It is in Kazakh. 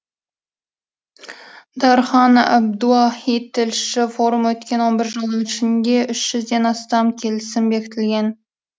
дархан әбдуахит тілші форум өткен он бір жылдың ішінде үш жүзден астам келісім бекітілген